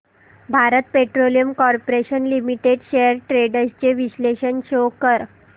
Bharat petroleum corporation limited shares trends चे विश्लेषण show कर